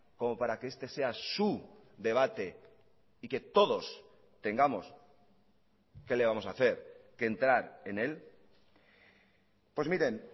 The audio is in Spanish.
como para que este sea su debate y que todos tengamos que le vamos a hacer que entrar en él pues miren